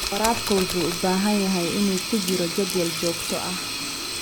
Waraabka wuxuu u baahan yahay inuu ku jiro jadwal joogto ah.